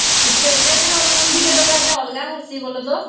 state bank ର loan ତକ ଦେବା ତ ଟିକେ ଅଲଗା ଆସି ବୋଲ ତ